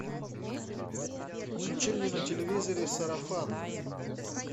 включи мне на телевизоре сарафан